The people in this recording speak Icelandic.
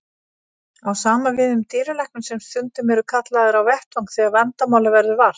Sama á við um dýralækna sem stundum eru kallaðir á vettvang þegar vandamála verður vart.